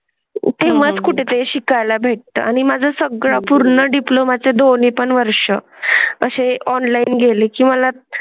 किंमत कुठे शिकाय ला भेटतात आणि माझं सगळं पूर्ण डिप्लोमा डिप्लोमा चे दोन्ही पण वर्ष असे ऑनलाइन ऑनलाइन गेलेकी मला.